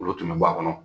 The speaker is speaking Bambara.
Olu tun bɛ bɔ a kɔnɔ